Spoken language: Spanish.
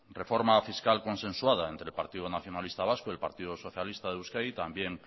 reforma fiscal consensuada entre el partido nacionalista vasco y el partido socialista de euskadi también